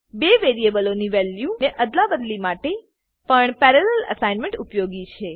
બે વેરીએબલો ની વેલ્યુ ને અદલાબદલી માટે પણ પેરાલેલ અસાઇનમેન્ટ ઉપયોગી છે